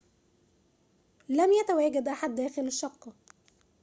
لم يتواجد أحد داخل الشقة